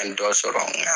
An ye dɔ sɔrɔ n ka